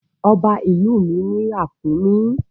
Ọba ìlú mi ní ràkúnmí.